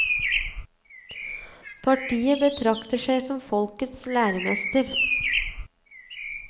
Partiet betrakter seg som folkets læremester.